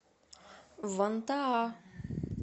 вантаа